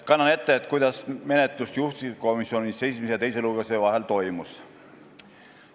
Kannan ette, kuidas menetlus juhtivkomisjonis esimese ja teise lugemise vahel toimus.